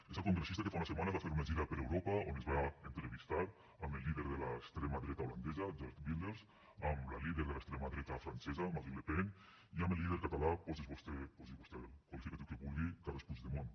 és el congressista que fa unes setmanes va fer una gira per europa on es va entrevistar amb el líder de l’extrema dreta holandesa geert wilders amb la líder de l’extrema dreta francesa marine le pen i amb el líder català posi hi vostè el qualificatiu que vulgui carles puigdemont